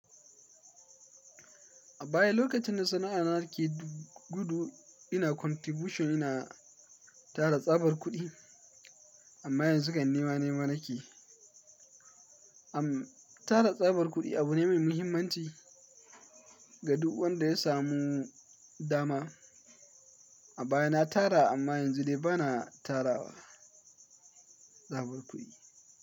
A baya lokacin da sana'a na ke gudu ina contribution ina tara tsabar kuɗi amma yanzu kan nima nema na keyi. Am tara tsabar kuɗi abu ne mai muhimmanci ga duk wanda ya samu dama. A baya na tara amma yanzu dai ba na tara tsabar kuɗi.